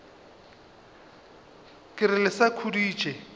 ke re le sa khuditše